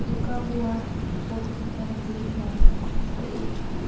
रुका हुआ है फोटो की तरफ देख रहा है और एक--